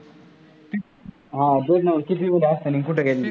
ते नव्हं कितविला असताना कुठे गेलेले?